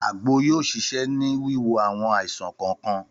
Àgbo yóò ṣiṣẹ́ ní wiwo àwọn àìsàn kọ̀ọ̀kan